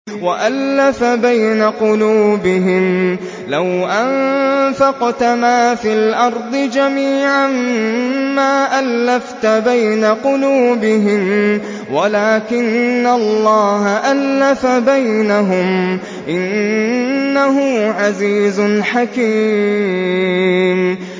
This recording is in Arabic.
وَأَلَّفَ بَيْنَ قُلُوبِهِمْ ۚ لَوْ أَنفَقْتَ مَا فِي الْأَرْضِ جَمِيعًا مَّا أَلَّفْتَ بَيْنَ قُلُوبِهِمْ وَلَٰكِنَّ اللَّهَ أَلَّفَ بَيْنَهُمْ ۚ إِنَّهُ عَزِيزٌ حَكِيمٌ